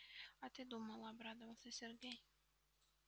а ты думала обрадовался сергей